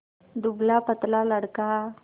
दुबलापतला लड़का